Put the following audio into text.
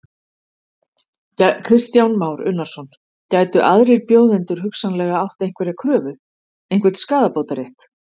Kristján Már Unnarsson: Gætu aðrir bjóðendur hugsanlega átt einhverja kröfu, einhvern skaðabótarétt?